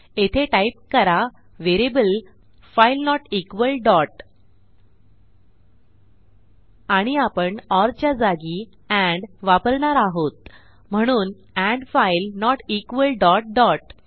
येथे टाईप करा variable file note equal dot आणि आपण ओर च्या जागी एंड वापरणार आहोत म्हणून and file note equal dot dot